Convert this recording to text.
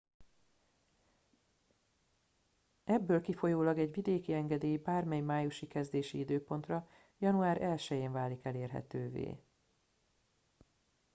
ebből kifolyólag egy vidéki engedély bármely májusi kezdési időpontra január 1 én válik elérhetővé